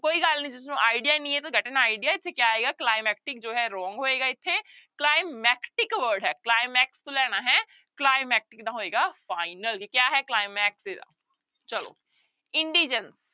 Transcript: ਕੋਈ ਗੱਲ ਨੀ ਜਿਸਨੂੰ idea ਨਹੀਂ ਹੈ idea ਇੱਥੇ ਕਿਆ ਆਏਗਾ climactic ਜੋ ਹੈ wrong ਹੋਏਗਾ ਇੱਥੇ climactic word ਹੈ climax ਤੋਂ ਲੈਣਾ ਹੈ climactic ਦਾ ਹੋਏਗਾ final ਜੇ ਕਿਆ ਹੈ ਚਲੋ indigence